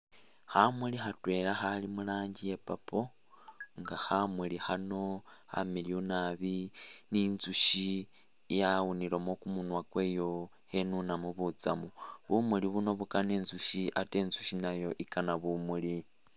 Khamuli khatwela Khali muranjii iya' purple nga khamuli khano khamiliyu naabi ni'ntsushi yawunilemo kumunywa kweyo khenunamo butsamu bumuuli buno bukana intsushi ate intsushi nayo ikana bumuuli